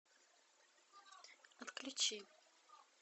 отключи